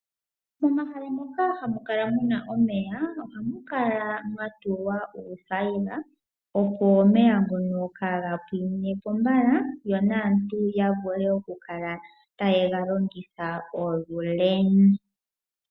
Momahala moka hamu kala muna omeya. Ohamu kala mwa tulwa uuthayila . Opo omeya kaaga pwine mo mbala yo naantu ya vule oku kala taye ga longitha olule.